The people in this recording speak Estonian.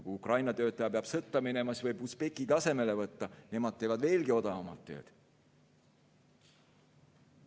Kui Ukraina töötaja peab sõtta minema, siis võib usbekid asemele võtta, nemad teevad veelgi odavamalt tööd.